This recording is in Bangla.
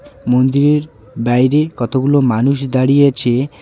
মন্দিরের বাইরে কতগুলো মানুষ দাঁড়িয়েছে.